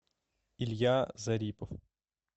илья зарипов